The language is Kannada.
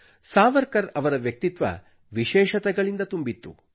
ಸಾವರ್ಕರ್ ಅವರ ವ್ಯಕ್ತಿತ್ವ ವಿಶೇಷತೆಗಳಿಂದ ತುಂಬಿತ್ತು